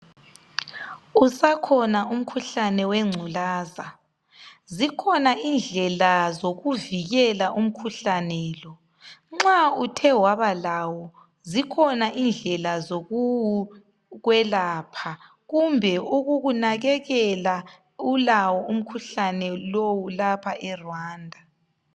Usakhona umkhuhlane wengculaza ,zikhona indlela zokuvikela umkhuhlane lo .Nxa Uthe wabalawo zikhona indlela zokuwukwelapha kumbe ukukunakekela ulawo umkhuhlane lowu eRwanda.